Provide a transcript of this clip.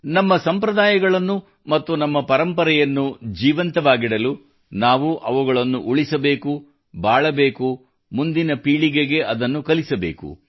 ನಮ್ಮ ಸಂಪ್ರದಾಯಗಳನ್ನು ನಮ್ಮ ಪರಂಪರೆಯನ್ನು ಜೀವಂತವಾಗಿಡಲು ನಾವು ಅವುಗಳನ್ನು ಉಳಿಸಬೇಕು ಬಾಳಬೇಕು ಮುಂದಿನ ಪೀಳಿಗೆಗೆ ಅದನ್ನು ಕಲಿಸಬೇಕು